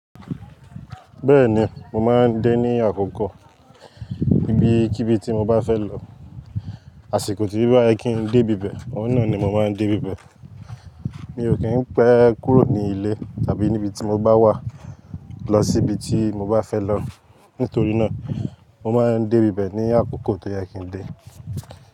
Bẹ́ẹ̀ni mo máa ń dé ní àkókò ibi kí bí tí mo bá fẹ́ lọ, àsìkò tí o bá yẹ kí ń dé ibibẹ̀, òun náà ni mo máa ń dé ibibẹ̀. Mi ò kí ń pé kúrò ní ilé tàbí níbi tí mo bá wà lọ síbi tí mo bá fẹ́ lọ. Nítorí náà mo máa ń dé ibẹ̀ ní àkókò tó yẹ kí ń dé.